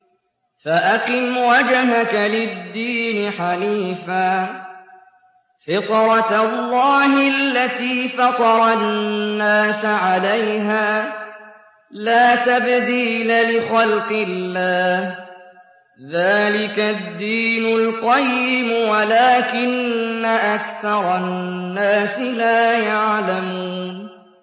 فَأَقِمْ وَجْهَكَ لِلدِّينِ حَنِيفًا ۚ فِطْرَتَ اللَّهِ الَّتِي فَطَرَ النَّاسَ عَلَيْهَا ۚ لَا تَبْدِيلَ لِخَلْقِ اللَّهِ ۚ ذَٰلِكَ الدِّينُ الْقَيِّمُ وَلَٰكِنَّ أَكْثَرَ النَّاسِ لَا يَعْلَمُونَ